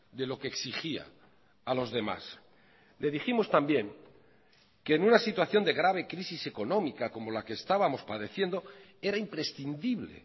de lo que exigía a los demás le dijimos también que en una situación de grave crisis económica como la que estábamos padeciendo era imprescindible